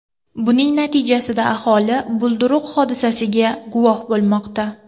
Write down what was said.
Buning natijasida aholi bulduruq hodisasiga guvoh bo‘lmoqda.